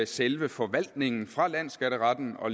selve forvaltningen tages fra landsskatteretten og